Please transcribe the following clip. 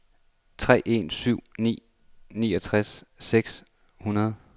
tre en syv nul niogtres seks hundrede